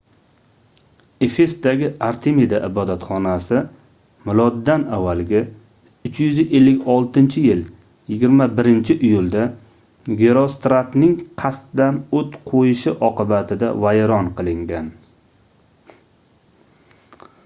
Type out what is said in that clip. efesdagi artemida ibodatxonasi m.a. 356-yil 21-iyulda gerostratning qasddan oʻt qoʻyishi oqibatida vayron qilingan